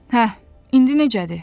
Hə, indi necədir?